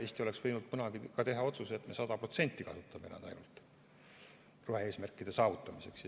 Eesti oleks võinud kunagi teha ka otsuse, et me 100% kasutame ainult rohe-eesmärkide saavutamiseks.